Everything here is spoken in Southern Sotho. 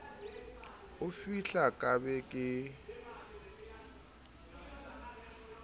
o fihla ka be ke